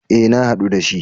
E, na haɗu da shi.